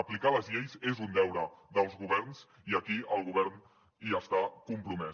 aplicar les lleis és un deure dels governs i aquí el govern hi està compromès